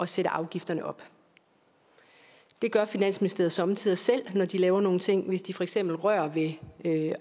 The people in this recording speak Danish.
sætte afgifterne op det gør finansministeriet somme tider selv når de laver nogle ting hvis de for eksempel rører ved